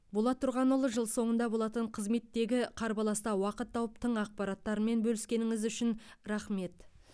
болат тұрғанұлы жыл соңында болатын қызметтегі қарбаласта уақыт тауып тың ақпараттармен бөліскеніңіз үшін рақмет